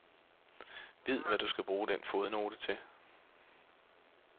Vid, hvad du skal bruge den fodnote til.